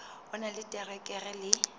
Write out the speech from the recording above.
o na le diterekere le